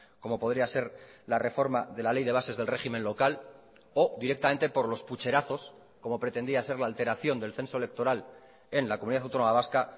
como podría ser la reforma de la ley de bases del régimen local o directamente por los pucherazos como pretendía ser la alteración del censo electoral en la comunidad autónoma vasca